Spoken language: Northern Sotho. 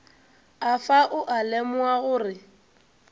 afa o a lemoga gore